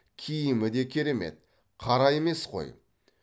киімі де керемет қара емес қой